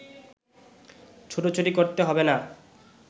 ছুটোছুটি করতে হবে না